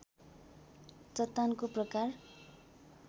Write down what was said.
चट्टानको प्रकार